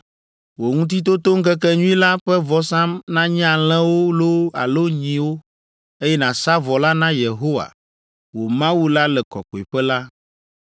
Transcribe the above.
Wò Ŋutitotoŋkekenyui la ƒe vɔsa nanye alẽwo loo alo nyiwo, eye nàsa vɔ la na Yehowa, wò Mawu la le kɔkɔeƒe la.